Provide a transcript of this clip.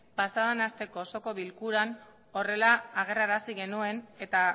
pasa den asteko oso bilkuran horrela agerrarazi genuen eta